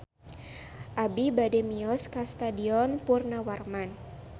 Abi bade mios ka Stadion Purnawarman